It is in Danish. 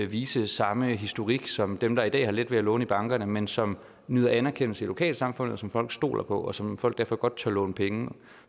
vise samme historik som dem der i dag har let ved at låne i bankerne men som nyder anerkendelse i lokalsamfundet og som folk stoler på og som folk derfor godt tør låne penge